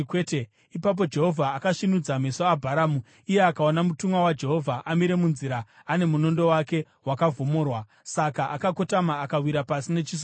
Ipapo Jehovha akasvinudza meso aBharamu, iye akaona mutumwa waJehovha amire munzira ane munondo wake wakavhomorwa. Saka akakotama akawira pasi nechiso chake.